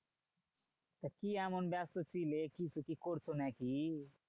তা কি এমন ব্যাস্ত ছিলে? কিছু কি করছো নাকি?